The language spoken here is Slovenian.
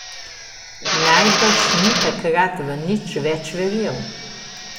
Najbrž ni takrat v nič več verjel.